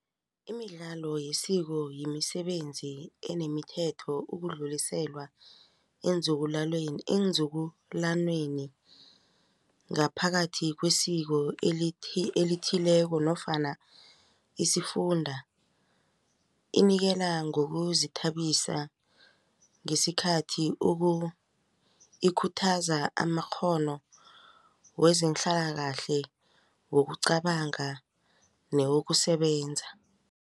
Imidlalo yesiko yemisebenzi enemithetho ukudluliselwa eenzukulwaneni ngaphakathi kwesiko elithileko nofana isifunda inikela ngokuzithabisa ngesikhathi ikhuthaza amakghono wezehlalakahle yokucabanga newokusebenza.